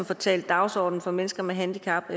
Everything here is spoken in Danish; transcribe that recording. få talt dagsordenen for mennesker med handicap